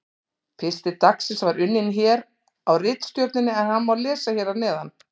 Pistill dagsins var unninn hér á ritstjórninni en hann má lesa hér að neðan: